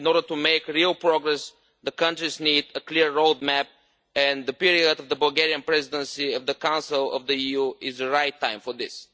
In order to make real progress, the countries need a clear road map, and the period of the Bulgarian Presidency of the Council of the EU is the right time for this.